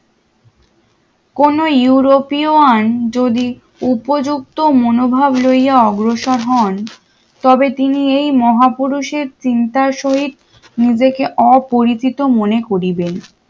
কোন ইউরোপীয় আন যদি উপযুক্ত মনোভাব লইয়া অগ্রসর হন তবে তিনি এই মহাপুরুষের চিন্তা সহিত নিজেকে অপরিচিত মনে করিবেন।